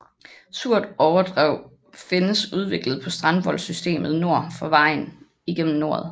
Surt overdrev findes udviklet på strandvoldssystemet nord for vejen igennem noret